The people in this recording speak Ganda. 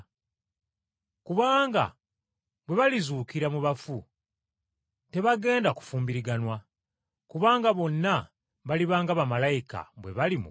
Kubanga bwe balizuukira mu bafu tebagenda kufumbiriganwa, kubanga bonna baliba nga bamalayika bwe bali mu ggulu.